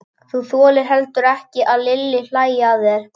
Þú þolir heldur ekki að Lilli hlæi að þér.